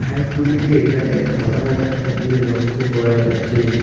হাসগুলিকে এখানে খাবার খাইতে লক্ষ করা যাচ্ছে।